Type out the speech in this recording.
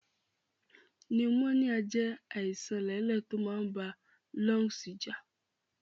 Pneumonia jé àìsan lẹ̀lẹ to máa n ba lungs jà